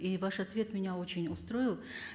и ваш ответ меня очень устроил